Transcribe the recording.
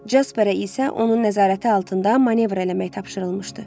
Casperə isə onun nəzarəti altında manevr eləmək tapşırılmışdı.